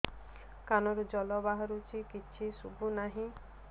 କାନରୁ ଜଳ ବାହାରୁଛି କିଛି ଶୁଭୁ ନାହିଁ